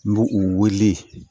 N b'u u wele